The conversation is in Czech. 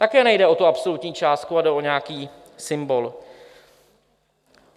Také nejde o tu absolutní částku, ale jde o nějaký symbol.